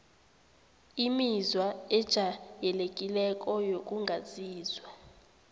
imizwa ejayelekileko wokungazizwa